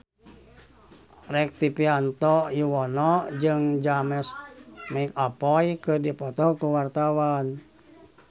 Rektivianto Yoewono jeung James McAvoy keur dipoto ku wartawan